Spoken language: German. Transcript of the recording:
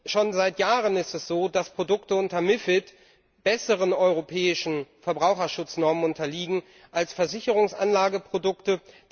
Schon seit Jahren ist es so, dass Produkte unter MiFID besseren europäischen Verbraucherschutznormen unterliegen als Versicherungsanlageprodukte.